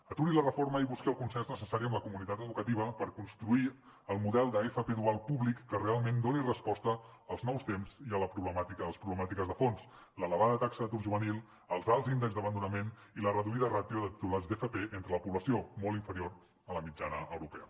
aturi la reforma i busqui el consens necessari amb la comunitat educativa per construir el model d’fp dual públic que realment doni resposta als nous temps i a les problemàtiques de fons l’elevada taxa d’atur juvenil els alts índexs d’abandonament i la reduïda ràtio de titulats d’fp entre la població molt inferior a la mitjana europea